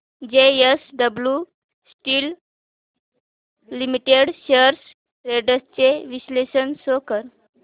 JSW steel limited shares trends चे विश्लेषण show कर